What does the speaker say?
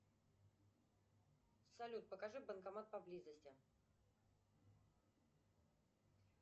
салют покажи банкомат поблизости